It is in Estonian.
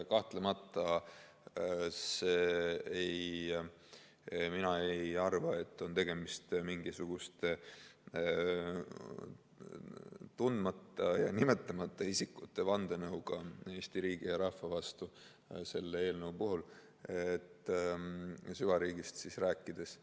Kahtlemata, mina ei arva, et on tegemist mingisuguste tundmatute ja nimetamata isikute vandenõuga Eesti riigi ja rahva vastu selle eelnõu puhul, süvariigist rääkides.